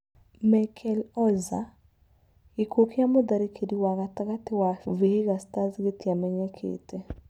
Merkel Oza: Gĩkuũ kĩa mũtharĩkĩri wa gatagatĩ wa Vihiga Stars gĩtiamenyekĩte.